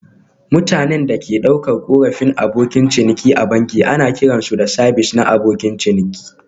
Mutanen da ke ɗaukar korafin Abokan ciniki a banki ana kiran su sabis na abokin ciniki